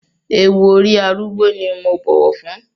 Ewú orí arúgbó ni mo bọ̀wọ̀ fún.